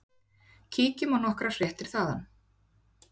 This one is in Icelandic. Kíkjum á nokkrar fréttir þaðan.